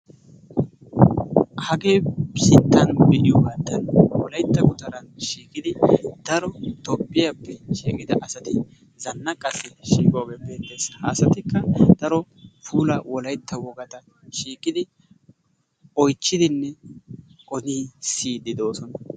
Hagee nu sinttan be'iyogattan wolaytta gutara shiiqidi daro toophphiyappe shiiqida asati zannaqassi shiiqoge beetees. Ha asatika daro puulaa wolaytta wogaata shiiqidi oychchidinee odin siyidi dosona.